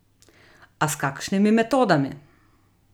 A s kakšnimi metodami?